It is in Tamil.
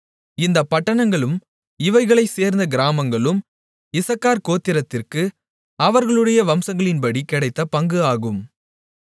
இந்தப் பட்டணங்களும் இவைகளைச்சேர்ந்த கிராமங்களும் இசக்கார் கோத்திரத்திற்கு அவர்களுடைய வம்சங்களின்படி கிடைத்த பங்கு ஆகும்